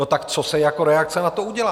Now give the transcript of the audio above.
No, tak co se jako reakce na to udělá?